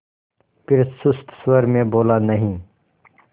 फिर सुस्त स्वर में बोला नहीं